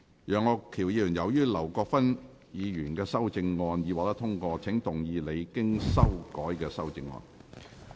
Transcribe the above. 楊岳橋議員，由於劉國勳議員的修正案已獲得通過，請動議你經修改的修正案。